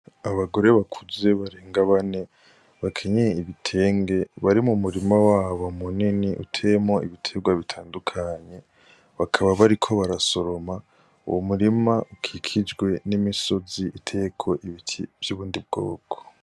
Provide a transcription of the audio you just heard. Abagore bakuze barenga bane bakenyeye ibitenge bari mu murima wabo munini uteyemwo ibitegwa bitandukanye bakaba bariko barasoroma uwo murima ukikijwe n' imisozi iteyeko ibiti vy' ubundi bwoko.